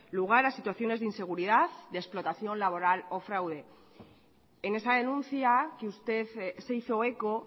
lugar a situaciones de inseguridad de explotación laboral o fraude en esa denuncia que usted se hizo eco